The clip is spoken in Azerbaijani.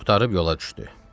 Qurtarıb yola düşdü.